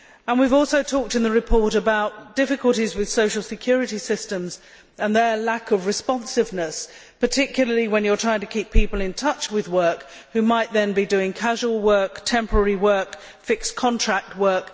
We have also talked in the report about difficulties with social security systems and their lack of responsiveness, particularly when you are trying to keep people in touch with work, and they might then be doing casual work, temporary work, fixed contract work.